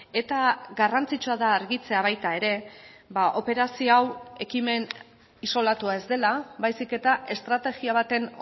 eta garrantzitsua da argitzea baita ere operazio hau ekimen isolatua ez dela baizik eta estrategia baten